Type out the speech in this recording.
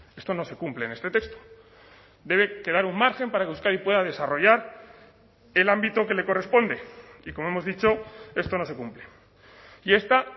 esto no se cumple en este texto debe quedar un margen para que euskadi pueda desarrollar el ámbito que le corresponde y como hemos dicho esto no se cumple y esta